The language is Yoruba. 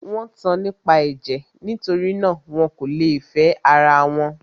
Wọ́n tan nípa ẹ̀jẹ̀; nitori náà, wọn kò lè fẹ́ ara wọn.